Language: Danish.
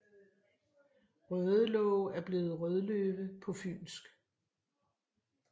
Rødelåge er blevet Rødløve på fynsk